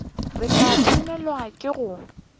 re tla swanelwa ke go